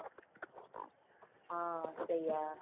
ହଁ ସେଇଆ